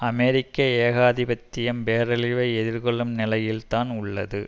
அமெரிக்க ஏகாதிபத்தியம் பேரழிவை எதிர்கொள்ளும் நிலையில் தான் உள்ளது